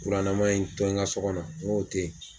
Kuranama in to yi n ka so kɔnɔ, n ko tɛ yen.